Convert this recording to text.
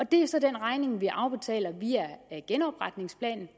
det er så den regning vi afbetaler via genopretningsplanen